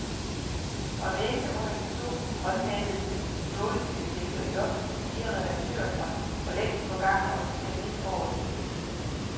Fra væggene under de to, grønmalede stålbjælker i loftet stirrer redaktører fra forlængst forgangne årtier ned over den hvide dug.